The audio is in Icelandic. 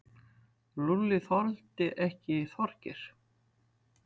Lúlli þoldi ekki Þorgeir.